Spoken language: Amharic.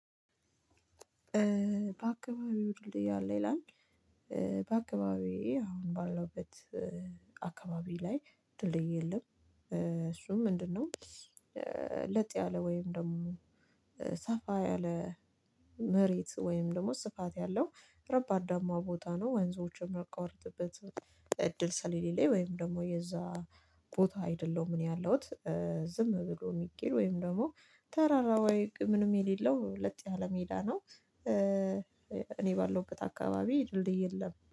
በአካባቢዎ ድልድይ አለ ይላል? በአካባቢዬ አሁን ባለውበት አካባቢ ላይ ድልድይ የለም። እሱም ምንድነው? ለጥ ያለ ወይም ደግሞ ሰፋ ያለ መሬት ወይም ደግሞ ስፋት ያለው ረባዳማ ቦታ ነው። ወንዞች ማቋርጥበት እድል ስለሌለኝ ላይ ወይም ደግሞ የዛ ቦታ አይደለሁም ምን ያለሁት? ዝም ብሎ ሚኬደው ወይም ደግሞ ተራራው ምንም የሌለው ለጥ ያለ ሜዳ ነው። እኔ ባለው እቅድ አካባቢ ድልድይ የለም